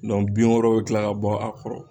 bin wɛrɛ bɛ kila ka bɔ a kɔrɔ.